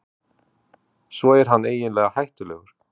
Svo er hann eiginlega hættulegur.